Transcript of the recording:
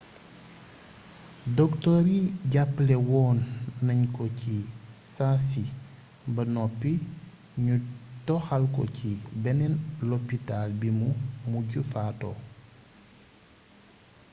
doktoor yi jàppale woon nañ ko ci saasi ba noppi ñu toxal ko ci beneen lopitaal bimu mujj fatoo